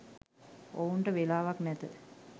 ඔවුන්ට වෙලාවක් නැත.